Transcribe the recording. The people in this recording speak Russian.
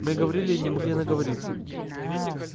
мы говорили и не могли наговориться